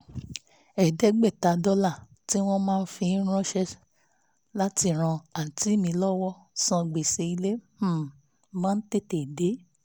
ẹ̀ẹ́dẹ́gbẹ̀ta dọ́là tí wọ́n máa ń fi ránṣẹ́ láti ran àǹtí mi lọ́wọ́ san gbèsè ilé um máa ń tètè tètè dé